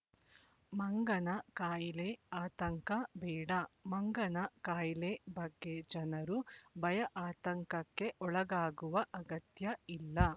ಮಂಗನ ಖಾಯಿಲೆ ಆತಂಕ ಬೇಡ ಮಂಗನ ಖಾಯಿಲೆ ಬಗ್ಗೆ ಜನರು ಭಯಆತಂಕಕ್ಕೆ ಒಳಗಾಗುವ ಅಗತ್ಯ ಇಲ್ಲ